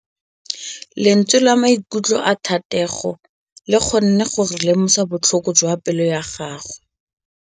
Lentswe la maikutlo a Thategô le kgonne gore re lemosa botlhoko jwa pelô ya gagwe.